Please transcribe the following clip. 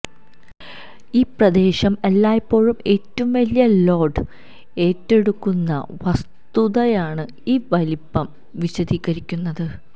ഈ പ്രദേശം എല്ലായ്പ്പോഴും ഏറ്റവും വലിയ ലോഡ് ഏറ്റെടുക്കുന്ന വസ്തുതയാണ് ഈ വലിപ്പം വിശദീകരിക്കുന്നത്